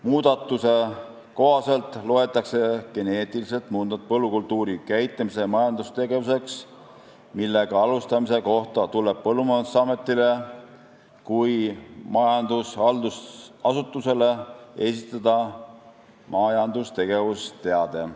Muudatuse kohaselt loetakse geneetiliselt muundatud põllukultuuri käitlemine majandustegevuseks, millega alustamise kohta tuleb Põllumajandusametile kui majandushaldusasutusele esitada majandustegevusteade.